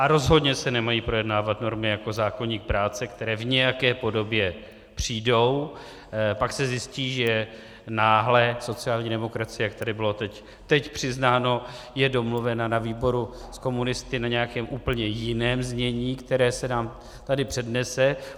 A rozhodně se nemají projednávat normy jako zákoník práce, které v nějaké podobě přijdou, pak se zjistí, že náhle sociální demokracie, jak tady bylo teď přiznáno, je domluvena na výboru s komunisty na nějakém úplném jiném znění, které se nám tady přednese.